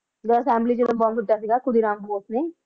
ਜਦੋਂ ਚ ਬੰਬ ਸੁੱਟਿਆ ਸੀਗਾ ਨੇ